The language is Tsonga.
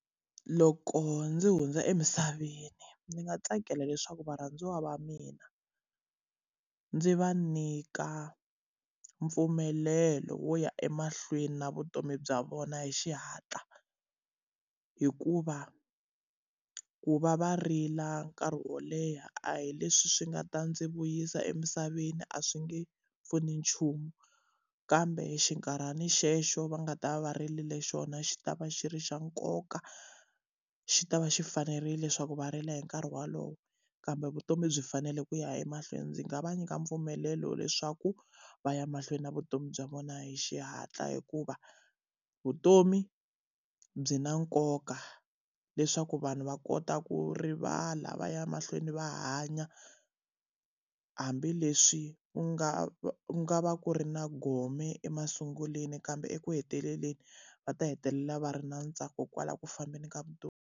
Loko ndzi hundza emisaveni ndzi nga tsakela leswaku varhandziwa va mina, ndzi va nyika mpfumelelo wo ya emahlweni na vutomi bya vona hi xihatla. Hikuva ku va va rila nkarhi wo leha a hi leswi swi nga ta ndzi vuyisa emisaveni, a swi nge pfuni nchumu. Kambe xinkarhana xexo va nga ta va va ririle xona xi ta va xi ri xa nkoka, xi ta va xi fanerile leswaku va rila hi nkarhi wolowo. Kambe vutomi byi fanele ku ya emahlweni. Ndzi nga va nyika mpfumelelo leswaku va ya mahlweni na vutomi bya vona hi xihatla, hikuva vutomi byi na nkoka leswaku vanhu va kota ku rivala va ya mahlweni va hanya. Hambileswi ku nga va ku nga va ku ri na gome emasungulweni kambe eku heteleleni, va ta hetelela va ri na ntsako kwalaho ku fambeni ka vutomi.